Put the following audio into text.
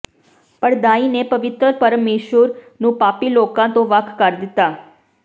ਪੜਦਾਈ ਨੇ ਪਵਿੱਤਰ ਪਰਮੇਸ਼ੁਰ ਨੂੰ ਪਾਪੀ ਲੋਕਾਂ ਤੋਂ ਵੱਖ ਕਰ ਦਿੱਤਾ